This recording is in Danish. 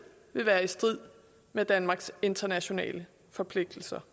vil være i strid med danmarks internationale forpligtelser